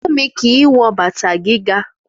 Fúnmi kì í wọ bàtà gíga